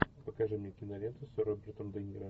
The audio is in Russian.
покажи мне киноленту с робертом де ниро